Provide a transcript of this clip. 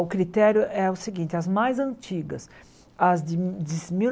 O critério é o seguinte, as mais antigas, as de de mil